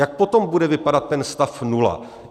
Jak potom bude vypadat ten stav nula?